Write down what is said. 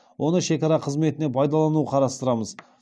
оны шекара қызметіне пайдалану қарастырамыз